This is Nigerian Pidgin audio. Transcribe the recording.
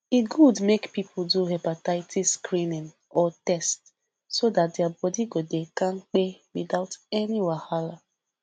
e good make people do hepatitis screening or test so that their body go dey kampe without any wahala